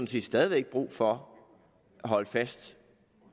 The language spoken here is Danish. stadig væk brug for at holde fast